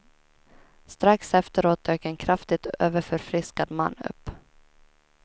Strax efteråt dök en kraftigt överförfriskad man upp.